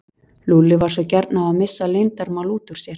Lúlli var svo gjarn á að missa leyndarmál út úr sér.